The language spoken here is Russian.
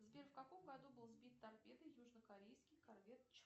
сбер в каком году был сбит торпедой южнокорейский корвет